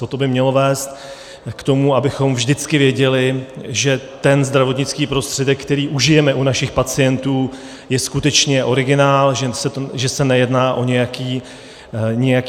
Toto by mělo vést k tomu, abychom vždycky věděli, že ten zdravotnický prostředek, který užijeme u našich pacientů, je skutečně originál, že se nejedná o nějaký padělek.